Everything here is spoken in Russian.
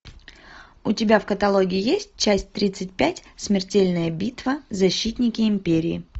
у тебя в каталоге есть часть тридцать пять смертельная битва защитники империи